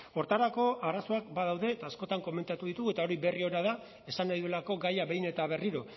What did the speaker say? horretarako arazoak badaude eta askotan komentatu ditugu eta hori berri ona da esan nahi duelako gaia behin eta berriro